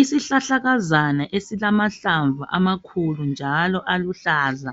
Isihlahlakazana esilamahlamvu amakhulu njalo aluhlaza,